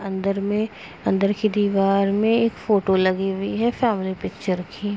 अंदर में अंदर की दीवार में एक फोटो लगी हुई है फैमिली पिक्चर की।